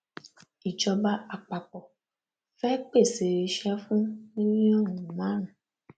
ìjọba àpapọ fẹẹ pèsè iṣẹ fún mílíọnù márùn